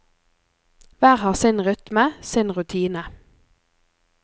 Hver har sin rytme, sin rutine.